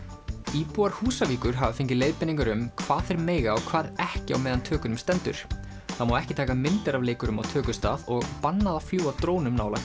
íbúar Húsavíkur hafa fengið leiðbeiningar um hvað þeir mega og hvað ekki á meðan tökunum stendur það má ekki taka myndir af leikurum á tökustað og bannað að fljúga drónum nálægt